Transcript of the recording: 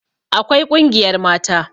Akwai ƙungiyar mata